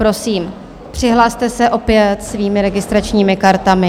Prosím, přihlaste se opět svými registračními kartami.